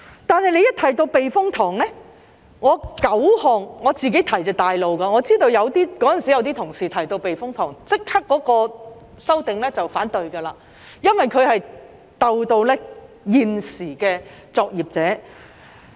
但當提到避風塘，我提出的9項議案都是較主流的，我知道當時有些同事只要提到避風塘，便會立即反對修訂，因為牽涉到現時的作業者。